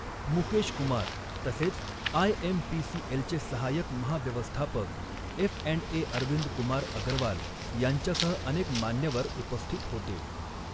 मुकेश कुमार तसेच आयएमपीसीएलचे सहाय्यक महाव्यवस्थापक एफअँडए अरविंदकुमार अग्रवाल यांच्यासह अनेक मान्यवर उपस्थित होते.